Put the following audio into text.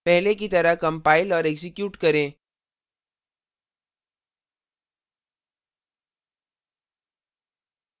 पहले की तरह कंपाइल और एक्जीक्यूट करें